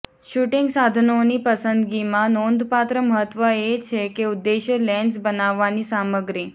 shooting સાધનોની પસંદગીમાં નોંધપાત્ર મહત્વ એ છે કે ઉદ્દેશ્ય લેન્સ બનાવવાની સામગ્રી